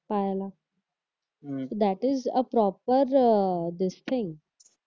पायाला that is a proper district